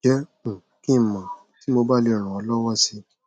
jẹ um kí n mọ tí mo bá lè ràn ọ lọwọ si